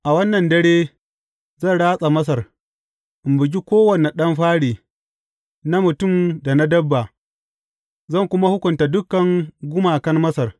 A wannan dare, zan ratsa Masar, in bugi kowane ɗan fari, na mutum da na dabba, zan kuma hukunta dukan gumakan Masar.